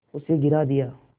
उसे गिरा दिया